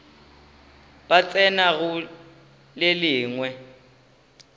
ba tsena go le lengwe